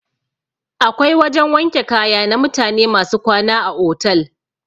Akwai wajan wanke kaya na mutane masu kwana a otal.